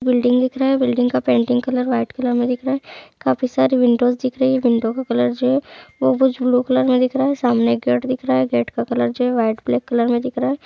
Building दिख रहा है बिल्डिंग का पेन्टिंग कलर वाइट कलर मे दिख रहा है काफी सारी विंडोस दिख रही है विंडो का कलर जो है वो कुछ ब्लू कलर मे दिख रहा है सामने गेट दिख रहा है गेट का कलर जो है वाइट ब्लेक कलर मे दिख रहा हैं ।